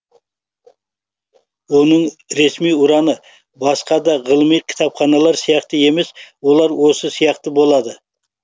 оның ресми ұраны басқа да ғылыми кітапханалар сияқты емес олар осы сияқты болады